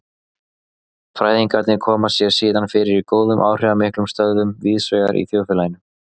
Fræðingarnir koma sér síðan fyrir í góðum áhrifamiklum stöðum víðsvegar í þjóðfélaginu.